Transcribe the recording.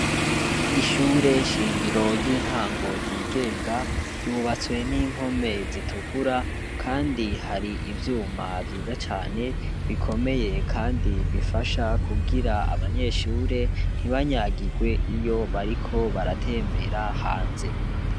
ishure shingira ry'intango ryigenga ryubatse n'impome zitukura kandi hari ivyuma vyiza cane kandi bikomeye Kandi bifasha kugira abanyeshure ntibanyagigwe iyo bariko baritembera hanze